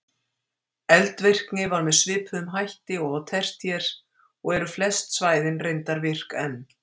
Eldvirkni var með svipuðum hætti og á tertíer og eru flest svæðin reyndar virk enn.